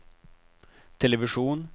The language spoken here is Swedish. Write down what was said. television